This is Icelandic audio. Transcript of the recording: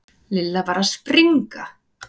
Lilla var að springa.